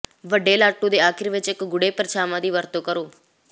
ਵੱਡੇ ਲਾਟੂ ਦੇ ਅਖੀਰ ਵਿਚ ਇਕ ਗੂੜ੍ਹੇ ਪਰਛਾਵਾਂ ਦੀ ਵਰਤੋਂ ਕਰੋ